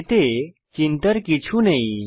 এতে চিন্তার কিছু নেই